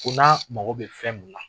Ko n'a mako bɛ fɛn mun na,